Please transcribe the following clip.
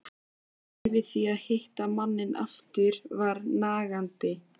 Kvíðinn yfir því að hitta manninn aftur var nagandi.